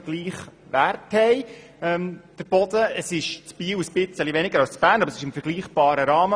In Biel liegt er ein wenig tiefer, aber es ist im vergleichbaren Rahmen.